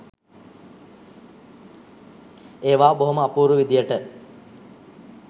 ඒවා බොහොම අපූරු විදිහට